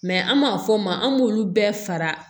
Mɛ an b'a fɔ o ma an b'olu bɛɛ fara